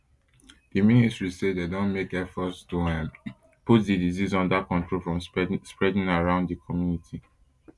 di ministry say dem don make efforts to um put di disease under control from spreading around di community